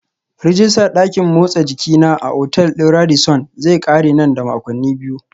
Rijistar dakin motsa jiki na a otal ɗin Radisson zai ƙare nan da makonni biyu.